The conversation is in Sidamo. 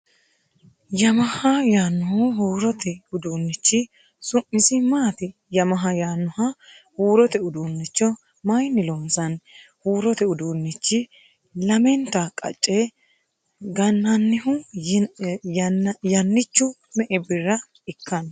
Yamaha yannohu huurote udunnichi su'misi maati ? Yamaha yannoha huurote uduunnicho mayinni loonsoonni ? Huurote uduunnichi lamenta qacce gannannihu yannichu me'e birra ikkanno ?